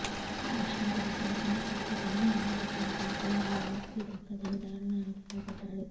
ఆ విషయం తెలిసిన చిన్నకొడుకు తల్లి అన్న దగ్గరికెళ్తే ఆస్తి దక్కదని దారుణానికి పాల్పడ్డాడు